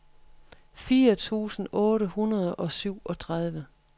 fire tusind otte hundrede og syvogtredive